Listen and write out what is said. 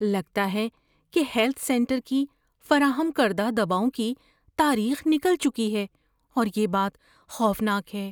لگتا ہے کہ ہیلتھ سینٹر کی فراہم کردہ دواؤں کی تاریخ نکل چکی ہے اور یہ بات خوفناک ہے۔